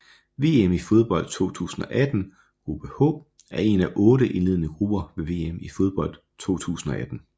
VM i fodbold 2018 gruppe H er en af otte indledende grupper ved VM i fodbold 2018